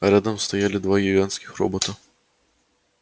рядом стояли два гигантских робота